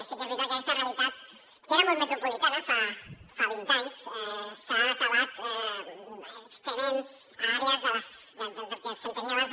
sí que és veritat que aquesta realitat que era molt metropolitana fa vint anys s’ha acabat estenent a àrees del que s’entenia abans